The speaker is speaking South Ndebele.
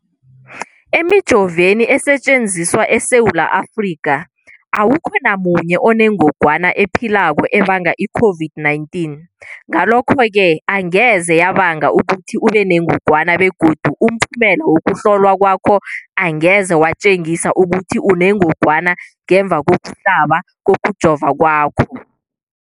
Emijoveni esetjenziswa eSewula Afrika, awukho namunye onengog wana ephilako ebanga i-COVID-19. Ngalokho-ke angeze yabanga ukuthi ubenengogwana begodu umphumela wokuhlolwan kwakho angeze watjengisa ukuthi unengogwana ngemva kokuhlaba, kokujova kwakho.